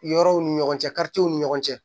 Yɔrɔw ni ɲɔgɔn cɛ karitigɛw ni ɲɔgɔn cɛ